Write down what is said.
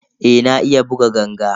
Eh na iya buga ganga.